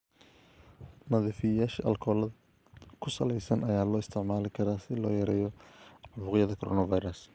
Nadiifiyeyaasha aalkolada ku salaysan ayaa loo isticmaali karaa si loo yareeyo caabuqyada coronavirus.